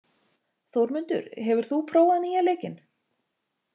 Þórmundur, hefur þú prófað nýja leikinn?